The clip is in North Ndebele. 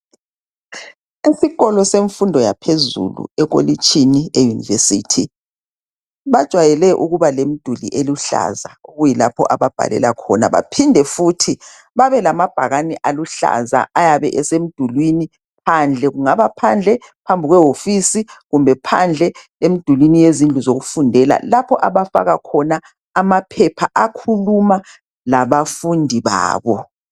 Esikolo semfundo yaphezulu ekolitshini eUniversity. Bajwayele ukubalemduli eluhlaza okuyilapho ababhalela khona baphinde futhi babelamabhakani aluhlaza ayabe esemdulwini phandle, kungaba phandle phambi kwehofisi kumbe phandle emdulwini yezindlu zokufundela lapho abafaka khona amaphepha akhuluma labafundi babo.